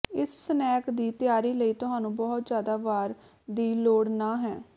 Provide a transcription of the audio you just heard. ਇਸ ਸਨੈਕ ਦੀ ਤਿਆਰੀ ਲਈ ਤੁਹਾਨੂੰ ਬਹੁਤ ਜ਼ਿਆਦਾ ਵਾਰ ਦੀ ਲੋੜ ਨਹ ਹੈ